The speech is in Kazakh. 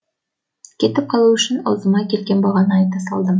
кетіп қалу үшін аузыма келген бағаны айта салдым